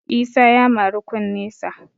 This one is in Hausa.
Isa ya mari kunnesa